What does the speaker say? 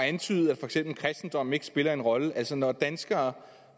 antydet at for eksempel kristendommen ikke spiller en rolle altså når danskere